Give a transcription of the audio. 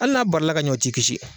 Hali n'a bali la ka ɲɛ o t'i kisi.